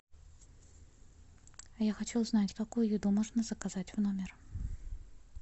я хочу узнать какую еду можно заказать в номер